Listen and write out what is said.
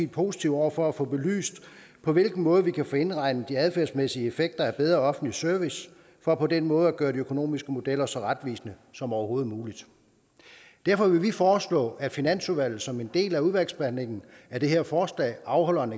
positive over for at få belyst på hvilken måde man kan få indregnet de adfærdsmæssige effekter af bedre offentlig service for på den måde at gøre de økonomiske modeller så retvisende som overhovedet muligt derfor vil vi foreslå at finansudvalget som en del af udvalgsbehandlingen af det her forslag afholder en